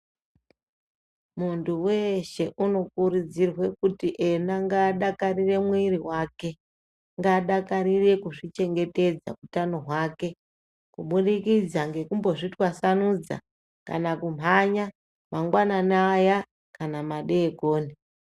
Munthu weshe unokurudzirwa kuti ena ngaadakarire mwiri wake ngaadakarire kuzvichengetedza utano hwake kubudikidza ngekumbozvitwasanudza kana kumhanya mangwanani aya kana madekoni.